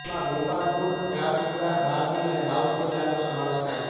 તેમાં ગોપાલપુર જારસુગડા બારબીલ અને રાઉરકેલાનો સમાવેશ થાય છે